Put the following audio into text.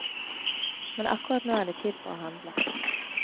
Men akkurat nå er det tid for å handle.